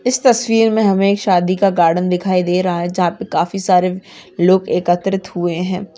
इस तस्वीर में हमें एक शादी का गार्डन दिखाई दे रहा है जहां पे काफी सारे लोग एकत्रित हुए है।